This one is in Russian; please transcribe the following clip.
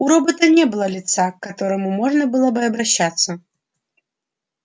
у робота не было лица к которому можно было бы обращаться